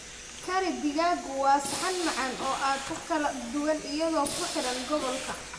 Curry digaaggu waa saxan macaan oo aad u kala duwan iyadoo ku xiran gobolka.